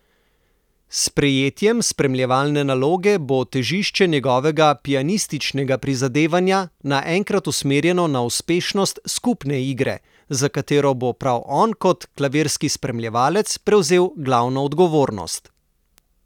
S sprejetjem spremljevalne naloge bo težišče njegovega pianističnega prizadevanja naenkrat usmerjeno na uspešnost skupne igre, za katero bo prav on kot klavirski spremljevalec prevzel glavno odgovornost.